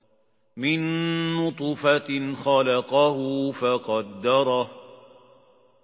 مِن نُّطْفَةٍ خَلَقَهُ فَقَدَّرَهُ